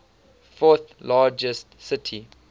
fourth largest city